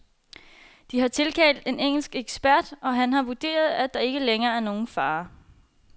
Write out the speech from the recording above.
De har tilkaldt en engelsk ekspert, og han har vurderet, at der ikke længere er nogen fare.